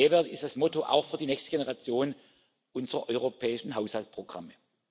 Mehrwert ist das Motto auch für die nächste Generation unserer europäischen Haushaltsprogramme.